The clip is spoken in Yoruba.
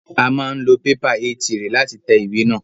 A máa ń lo pépà Éé 3 láti tẹ ìwé náà.